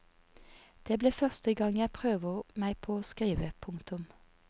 Det blir første gang jeg prøver meg på å skrive. punktum